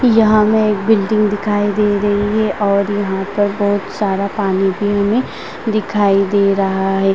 यहाँ हमे एक बिल्डिंग दिखाई दे रही है और यहाँ पर बहुत सारा पानी भी हमें दिखाई दे रहा है ।